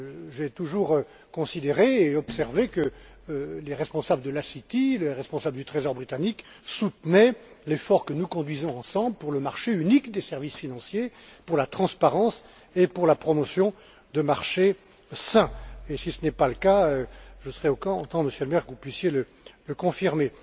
J'ai toujours considéré et observé que les responsables de la City, les responsables du Trésor britannique soutenaient l'effort que nous conduisons ensemble pour le marché unique des services financiers, pour la transparence et pour la promotion de marchés sains. Et si ce n'est pas le cas, je souhaiterais, Monsieur Helmer, que vous puissiez le confirmer.